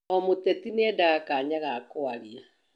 O mũteti nĩendaga kanya ga kwaria